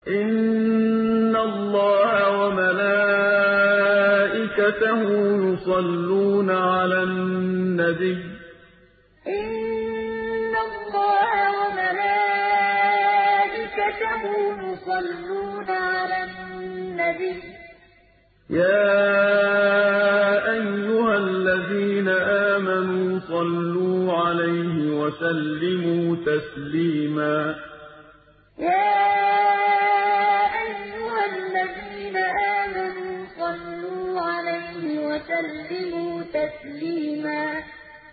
إِنَّ اللَّهَ وَمَلَائِكَتَهُ يُصَلُّونَ عَلَى النَّبِيِّ ۚ يَا أَيُّهَا الَّذِينَ آمَنُوا صَلُّوا عَلَيْهِ وَسَلِّمُوا تَسْلِيمًا إِنَّ اللَّهَ وَمَلَائِكَتَهُ يُصَلُّونَ عَلَى النَّبِيِّ ۚ يَا أَيُّهَا الَّذِينَ آمَنُوا صَلُّوا عَلَيْهِ وَسَلِّمُوا تَسْلِيمًا